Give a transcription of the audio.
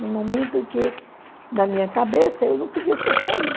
Num momento que, na minha cabeça, eu não podia ter saído.